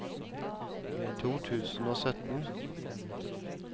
to tusen og sytten